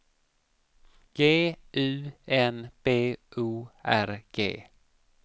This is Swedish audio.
G U N B O R G